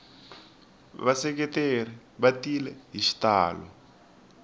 vaseketeri va tile hi xitalo